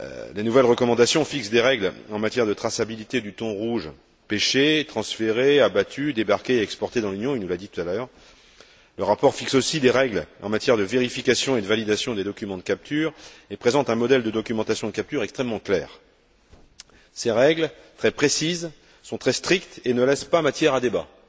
Les nouvelles recommandations fixent des règles en matière de traçabilité du thon rouge pêché, transféré, abattu, débarqué et exporté dans l'Union, il nous l'a dit tout à l'heure. Le rapport fixe aussi des règles en matière de vérification et de validation des documents de capture et présente un modèle de documentation de capture extrêmement clair. Ces règles, très précises, sont très strictes et ne laissent pas matière à débat.